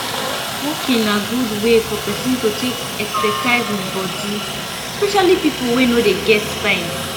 walking na good wey for person to take exercise im body especially pipo wey no dey get time